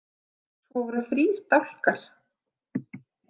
Svo voru þrír dálkar.